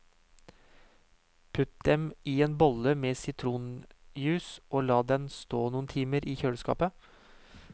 Putt dem i en bolle med sitronjuice, og la den stå noen timer i kjøleskapet.